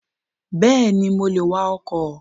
Yes, I can drive a car